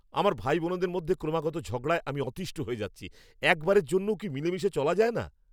আমার ভাইবোনদের মধ্যে ক্রমাগত ঝগড়ায় আমি অতীষ্ঠ হয়ে যাচ্ছি। একবারের জন্যও কি মিলেমিশে চলা যায় না?